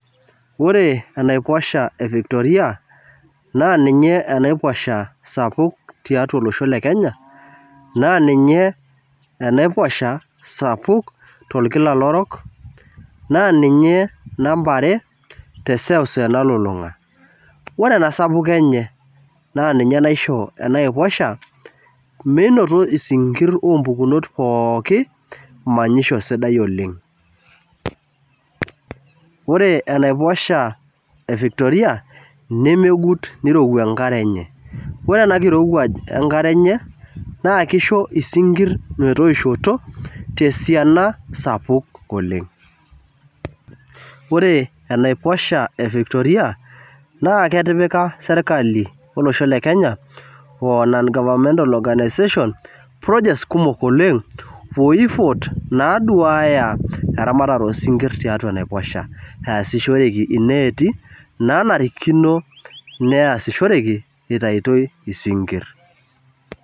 Ore enaiposha evictoria naa ninye enaiposha sapuk tiatua olosho le Kenya naa ninye enaiposha sapuk to nkilalo orok, naa ninye namba are te seuseu nalulunga. Ore ena sapuko enye naa ninye naisho ena aiposha menoto esinkir oompukunot pooki manyisho sidai oleng. Ore enaiposha evictoria nemegut, neirewua enkare enye, ore ena enkirewuaj enkare enye naa keisho isinkir metoishoto te siana sapuk oleng. Ore enaiposha evictoria naa ketipika sirkali olosho le Kenya oo aa non- governmental organisation, projects kumok oleng ooifot naduaaya eramatata oosinkir tiatu enaiposha easishoreki ineeti naanarikino neasishoreki etu eitoi isinkir.